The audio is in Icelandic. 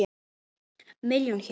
Milljón hér.